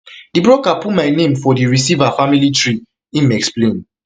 di broker put my name for di receiver family tree im explain